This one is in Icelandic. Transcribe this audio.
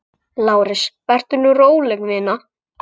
LÁRUS: Vertu nú róleg, vina.